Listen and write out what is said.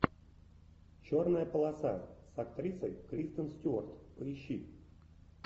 черная полоса с актрисой кристен стюарт поищи